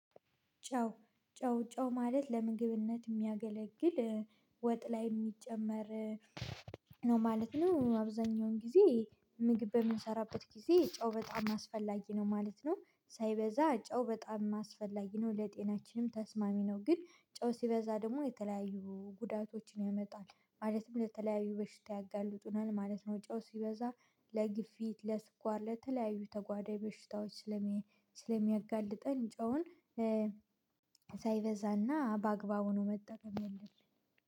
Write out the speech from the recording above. ጨው ጨው ጨው ማለት ለምግብነት የሚያገለግል ወጥ ላይ የሚጨመር ነው ማለት ነው። አብዛኛውን ጊዜ ምግብ በምንሰራበት ጊዜ ጨው በጣም አስፈላጊ ነው ማለት ነው። ሳይበዛ ጨው በጣም አስፈላጊ ነው ለጤናችንም ተስማሚ ነው። ግን ጨው ሲበዛ ደግሞ የተለያዩ ጉዳቶችን ያመጣል ማለትም ለተለያዩ በሽታ ያጋልጡናል ማለት ነው። ጨው ሲበዛ ለግፊት ለስኳር ለተለያዩ ተጓዳይ በሽታዎች ስለሚያጋልጥን ጨውን ሳይበዛ እና በአግባቡ ነው መጠቀም የለም